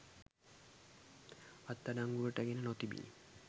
අත්අඩංගුවට ගෙන නොතිබිණි.